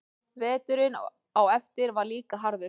Veturinn á eftir var líka harður.